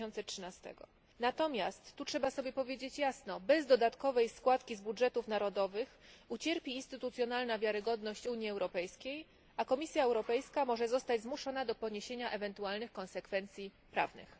2013. Natomiast, tu trzeba sobie powiedzieć jasno, bez dodatkowej składki z budżetów narodowych ucierpi instytucjonalna wiarygodność Unii Europejskiej, a Komisja Europejska może zostać zmuszona do poniesienia ewentualnych konsekwencji prawnych.